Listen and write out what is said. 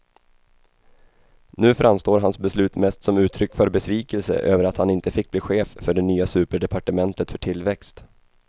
Nu framstår hans beslut mest som uttryck för besvikelse över att han inte fick bli chef för det nya superdepartementet för tillväxt.